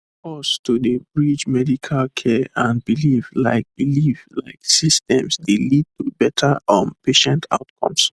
pause to dey bridge medical care and belief like belief like systems dey lead to better um patient outcomes